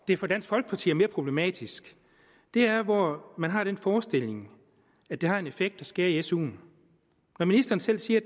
det for dansk folkeparti er mere problematisk er hvor man har den forestilling at det har en effekt at skære i suen når ministeren selv siger at